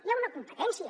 hi ha una competència